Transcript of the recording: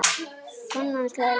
Konan hans hlær líka.